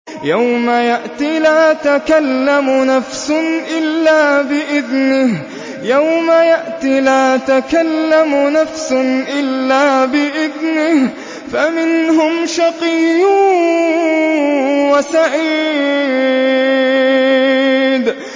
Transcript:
يَوْمَ يَأْتِ لَا تَكَلَّمُ نَفْسٌ إِلَّا بِإِذْنِهِ ۚ فَمِنْهُمْ شَقِيٌّ وَسَعِيدٌ